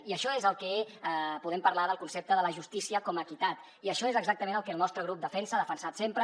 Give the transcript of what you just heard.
i això és el que podem parlar del concepte de la justícia com a equitat i això és exactament el que el nostre grup defensa ha defensat sempre